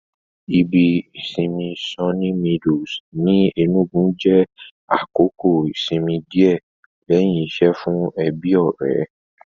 Ibi ìsinmi Sunny Meadows ní Ẹnúgu jẹ́ àkókò ìsinmi díẹ̀ lẹ́hìn iṣẹ́ fún ẹbí-ọ̀rẹ́